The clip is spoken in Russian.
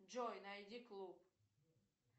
джой найди клуб